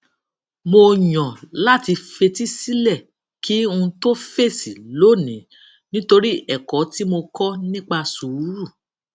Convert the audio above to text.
mo yàn láti fetí sílè kí n tó fèsì lónìí nítorí èkó tí mo kó nípa sùúrù